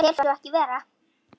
Ég tel svo ekki vera.